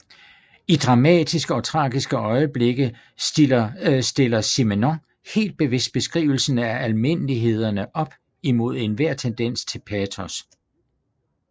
I dramatiske og tragiske øjeblikke stiller Simenon helt bevidst beskrivelsen af almindelighederne op imod enhver tendens til patos